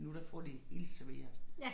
Nu der får de hele serveret